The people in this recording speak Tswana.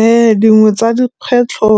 Ee, dingwe tsa dikgwetlho